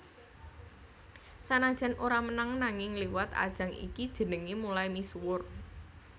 Sanajan ora menang nanging liwat ajang iki jenengé mulai misuwur